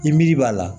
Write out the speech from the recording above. I miri b'a la